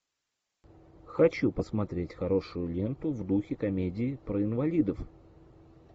хочу посмотреть хорошую ленту в духе комедии про инвалидов